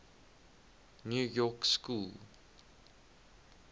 new york school